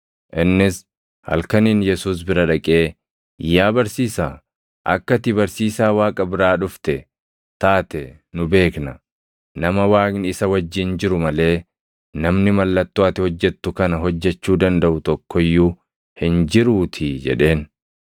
Innis halkaniin Yesuus bira dhaqee, “Yaa barsiisaa, akka ati barsiisaa Waaqa biraa dhufte taate nu beekna; nama Waaqni isa wajjin jiru malee namni mallattoo ati hojjettu kana hojjechuu dandaʼu tokko iyyuu hin jiruutii” jedheen.